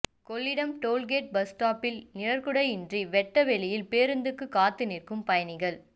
Kollidam tollgate bus ஸ்டாப்பில் நிழற்குடையின்றி வெட்ட வெளியில் பேருந்துக்கு காத்து நிற்கும் பயணிகள்